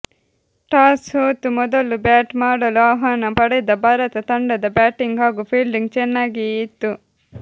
toss ಸೋತು ಮೊದಲು bat ಮಾಡಲು ಆಹ್ವಾನ ಪಡೆದ ಭಾರತ ತಂಡದ ಬ್ಯಾಟಿಂಗ್ ಹಾಗೂ ಫೀಲ್ಡಿಂಗ್ ಚೆನ್ನಾಗಿಯೇ ಇತ್ತು